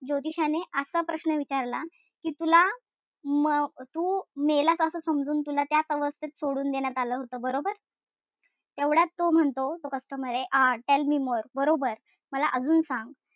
ज्योतिषाने असा प्रश्न विचारला कि तुला म तू मेलाच असं समजून तुला त्या अवस्थेत सोडून देण्यात आलं होत बरोबर. तेवढ्यात तो म्हणतो तो customer ए tell me more बरोबर? मला अजून सांग.